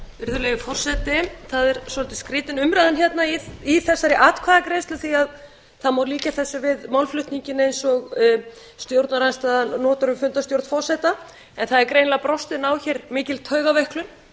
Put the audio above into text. virðulegi forseti það er svolítið skrýtin umræðan hérna í þessari atkvæðagreiðslu því að það má líkja þessu við málflutninginn eins og stjórnarandstaðan notar um fundarstjórn forseta það er greinilega brostin á hér mikil taugaveiklun